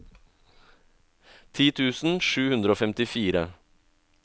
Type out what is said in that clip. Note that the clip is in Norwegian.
ti tusen sju hundre og femtifire